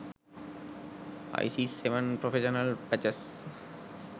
isis 7 professional patches